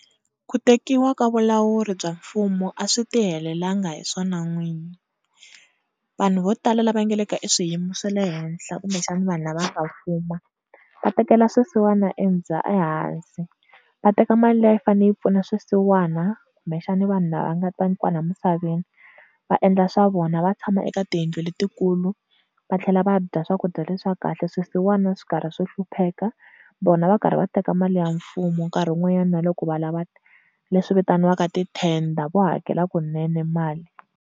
Ku tekiwa ka vulawuri bya mfumo a swi tihelelangi hi swona n'wini. Vanhu vo tala lava nga le ka eswiyimo swa le henhla kumbexana vanhu lava nga fuma va tekela swisiwana ehansi va teka mali leyi a yi fane yi pfuna swisiwana kumbexana vanhu lava nga ta kwala misaveni va endla swa vona va tshama ka tiyindlu letikulu va tlhela va dya swakudya leswakahle swisiwana swi karhi swi hlupheka vona va karhi va teka mali ya mfumo nkarhi wun'wanyana na loko va lava leswi vitaniwaka tithenda vo hakela kunene mali.